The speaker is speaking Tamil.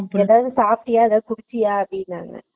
சாப்டியா எதாச்சும் குடுச்சியா அப்பிடின்னாரு ?